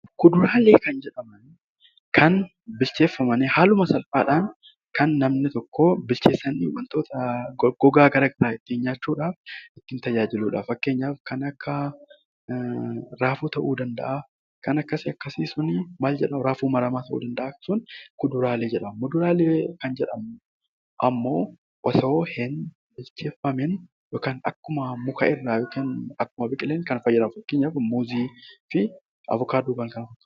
Kuduraalee jechuun bilcheeffamanii haala salphaadhaan kan namni tokko waan goggogaa garaagaraa ittiin nyaachuudhaaf tajaajiludha. Fakkeenyaaf raafuu ta'uu danda'a , raafuu maramaa ta'uu danda'a . Muduraalee kan jedhamu immoo osoo hin bilcheeffamiin kan akkuma mukarraa biqileen kan fayyadamnudha fakkeenyaaf avokaadoo fa'a.